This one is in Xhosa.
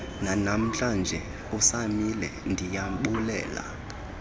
nanamhlanje usamile ndiyabulela